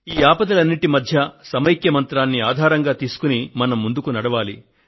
ఈ ఆపదలన్నింటి మధ్య సమైక్య మంత్రాన్ని ఆధారంగా తీసుకుని మనం ముందుకు నడవాలి